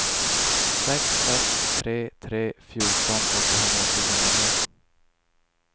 sex sex tre tre fjorton åttahundratjugonio